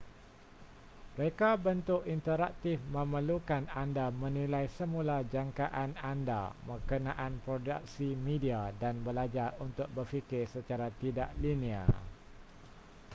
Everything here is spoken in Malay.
reka bentuk interaktif memerlukan anda menilai semula jangkaan anda berkenaan produksi media dan belajar untuk berfikir secara tidak linear